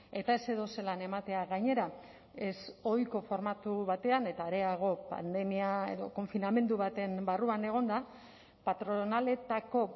eta ez edozelan ematea gainera ezohiko formatu batean eta areago pandemia edo konfinamendu baten barruan egonda patronaletako